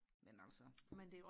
men altså